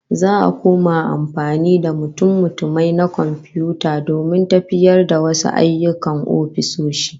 Za'a koma amfani da mutummutumai na komfiyuta domin tafiyar da wasu ayyukan ofisoshi